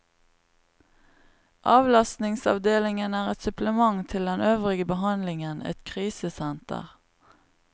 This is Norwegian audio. Avlastningsavdelingen er et supplement til den øvrige behandlingen, et krisesenter.